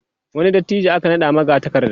wani dattijo aka naɗa magatakarda